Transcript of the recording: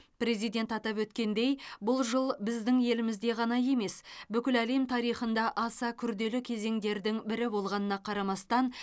президент атап өткендей бұл жыл біздің елімізде ғана емес бүкіл әлем тарихында аса күрделі кезеңдердің бірі болғанына қарамастан